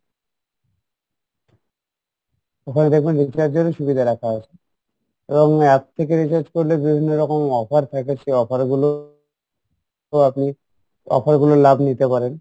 ওখানে দেখবেন recharge এরও সুবিধা রাখা আছে app থেকে recharge করলে বিভিন্ন রকম offer থাকে সে offer গুলো তো আপনি offer গুলোর লাভ নিতে পারেন